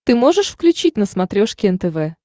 ты можешь включить на смотрешке нтв